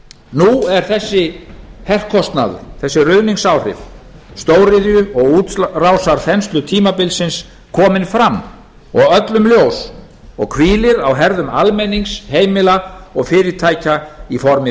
nú er þessi herkostnaður þessi ruðningsáhrif stóriðju og útrásarþenslutímabilsins komin fram og öllum ljós og hvílir á herðum almennings heimila og fyrirtækja í formi